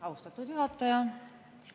Austatud juhataja!